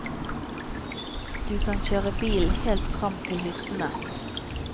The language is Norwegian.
Du kan kjøre bil helt fram til hyttene.